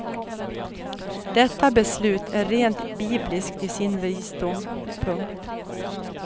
Detta beslut är rent bibliskt i sin visdom. punkt